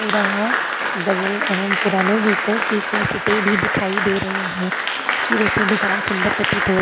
पुरा ह गजल एवं पुराने गीतों की कैसेटे भी दिखाई दे रही है इसकी वजह से दुकान सुंदर प्रतीत हो --